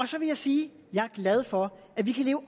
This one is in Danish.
så vil jeg sige at jeg er glad for at vi kan leve